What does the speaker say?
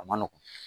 A ma nɔgɔn